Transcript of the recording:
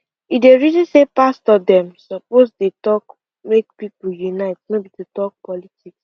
e dey reason say pastor dem suppose de talk make people unite no be to talk politics